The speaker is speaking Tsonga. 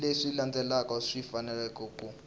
leswi landzelaka swi fanele ku